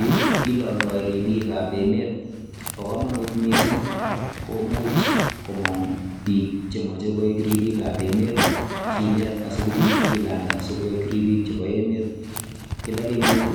yu kilondo ribiik ab emet, bo komonut missing komuch komong biik chemoche koik ribiikab emet kinet asikobiit kilanda sikoik ribiik chebo emet, kila kenyit